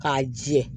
K'a jɛ